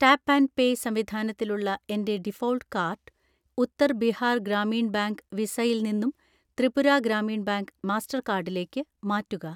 Tap and pay സംവിധാനത്തിലുള്ള എൻ്റെ default card Uttar Bihar Gramin bank വിസയിൽ നിന്നും ത്രിപുര ഗ്രാമീൺ ബാങ്ക് മാസ്റ്റർകാർഡിലേക്ക്‌ മാറ്റുക.